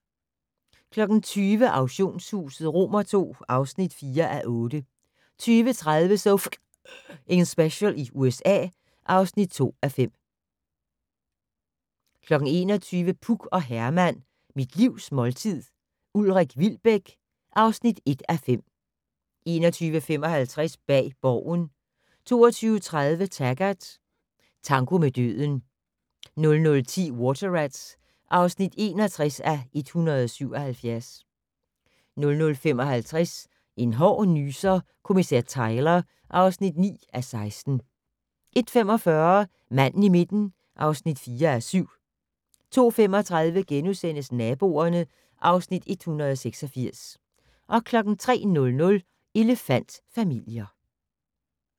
20:00: Auktionshuset II (4:8) 20:30: So F***ing Special i USA (2:5) 21:00: Puk og Herman - Mit livs måltid - Ulrik Wilbek (1:5) 21:55: Bag Borgen 22:30: Taggart: Tango med døden 00:10: Water Rats (61:177) 00:55: En hård nyser: Kommissær Tyler (9:16) 01:45: Manden i midten (4:7) 02:35: Naboerne (Afs. 186)* 03:00: Elefant-familier